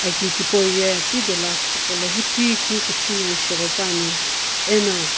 aki thipou ye pidolo akstii gholo hujui keu kuthii no ghopane ano.